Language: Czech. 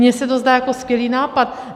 Mně se to zdá jako skvělý nápad.